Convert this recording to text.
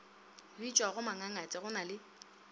bitšwago mangangate go na le